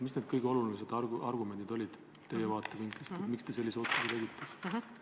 Mis need kõige olulisemad argumendid teie vaatevinklist olid, et te sellise otsuse tegite?